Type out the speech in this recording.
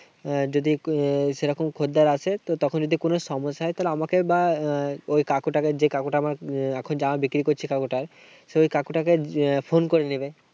যদি সেরকম খরিদ্দার আসে, তো তখন যদি কোনো সমস্যা হয়। তাহলে আমাকে বা ওই কাকুটাকে, যে কাকুটা এখন জামা বিক্রি করছে যে কাকুটা সে ওই কাকুটাকে phone করে নিবে।